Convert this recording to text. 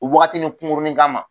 O wagatinin kunkurunin kama